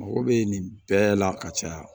Mago bɛ nin bɛɛ la ka caya